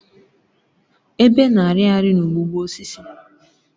Ebe na-arị arị n'ụgbụgbọ osisi.